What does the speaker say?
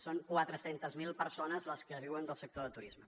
són quatre cents miler persones les que viuen del sector del turisme